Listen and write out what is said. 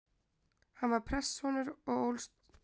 Hann var prestssonur og ólst upp á Norðurlandi.